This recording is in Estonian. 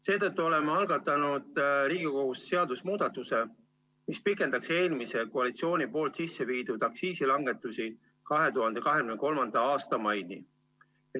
Seetõttu oleme algatanud Riigikogus seadusemuudatuse, mis pikendaks eelmise koalitsiooni sisse viidud aktsiisilangetusi 2023. aasta maini.